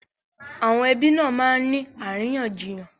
Àwọn ẹbí nà máa ń ní àríyànjiyàn